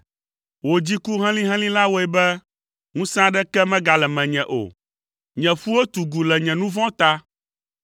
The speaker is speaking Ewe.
Wò dziku helĩhelĩ la wɔe be ŋusẽ aɖeke megale menye o; nye ƒuwo tugu le nye nu vɔ̃ ta.